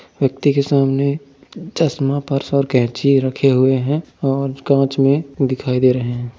व्यक्ति के सामने चश्मा पर्स और कैंची रखे हुए हैं और कांच में दिखाई दे रहे हैं।